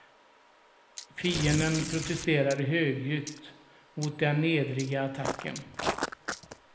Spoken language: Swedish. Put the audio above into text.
Fienden protesterar högljutt mot den nedriga attacken.